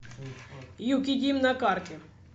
юкидим на карте